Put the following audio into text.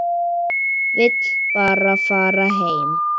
Vill bara fara heim.